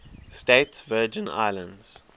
states virgin islands